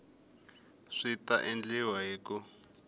swi ta endliwa hi ku